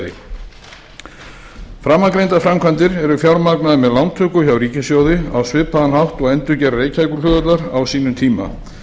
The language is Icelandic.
framtíðarflugvallarstæði framangreindar framkvæmdir eru fjármagnaðar með lántöku hjá ríkissjóði á svipaðan hátt og endurgerð reykjavíkurflugvallar á sínum tíma